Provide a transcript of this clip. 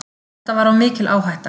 Þetta var of mikil áhætta.